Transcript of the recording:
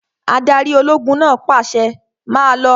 Adarí ológun náà pàṣẹ, 'Máa lọ!